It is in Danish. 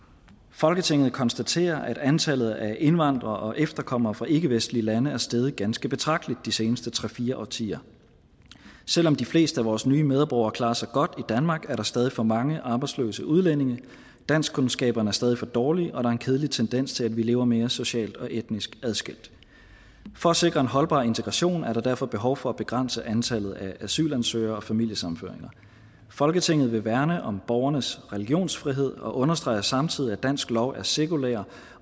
folketinget konstaterer at antallet af indvandrere og efterkommere fra ikkevestlige lande er steget ganske betragteligt de seneste tre fire årtier selv om de fleste af vores nye medborgere klarer sig godt i danmark er der stadig for mange arbejdsløse udlændinge danskkundskaberne er stadig for dårlige og der er en kedelig tendens til at vi lever mere socialt og etnisk adskilt for at sikre en holdbar integration er der derfor behov for at begrænse antallet af asylansøgere og familiesammenføringer folketinget vil værne om borgernes religionsfrihed og understreger samtidig at dansk lov er sekulær